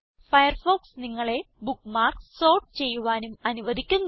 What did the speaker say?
Firefox നിങ്ങളെ bookmarks sort ചെയ്യുവാനും അനുവധിക്കുന്നു